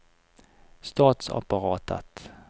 statsapparatet